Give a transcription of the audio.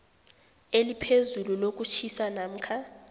eliphezulu lokutjhisa namkha